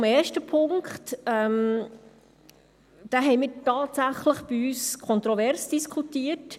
Zum ersten Punkt: Diesen haben wir bei uns tatsächlich kontrovers diskutiert.